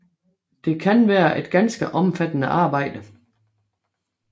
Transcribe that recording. Det kan være et ganske omfattende arbejde